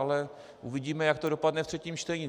Ale uvidíme jak to dopadne ve třetím čtení.